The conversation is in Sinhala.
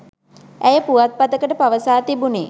ඇය පුවත්පතකට පවසා තිබුනේ